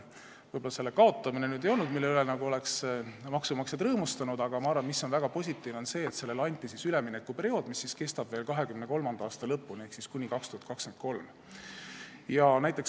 Võib-olla selle kaotamine ei olnud see, mille üle maksumaksjad oleksid rõõmustanud, aga ma arvan, et väga positiivne on see, et selleks anti üleminekuperiood, mis kestab veel kuni 2023. aasta lõpuni.